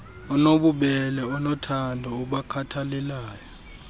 onobubele onothando obakhathalelayo